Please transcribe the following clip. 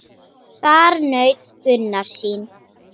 Þar naut Gunnar sín.